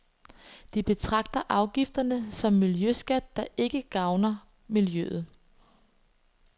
De betragter afgifterne som miljøskat, der ikke gavner miljøet.